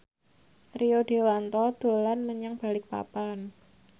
Rio Dewanto dolan menyang Balikpapan